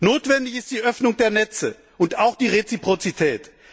Notwendig ist die Öffnung der Netze und auch die Reziprozität.